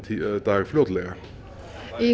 dag fljótlega